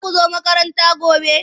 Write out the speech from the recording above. Za ku zo makaranta gobe?